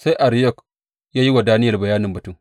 Sai Ariyok ya yi wa Daniyel bayanin batun.